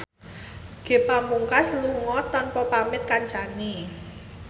Ge Pamungkas lunga tanpa pamit kancane